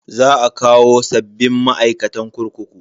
Za a kawo sabbin ma'aikatan kurkuku.